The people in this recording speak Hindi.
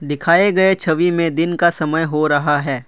दिखाए गए छवि में दिन का समय हो रहा है।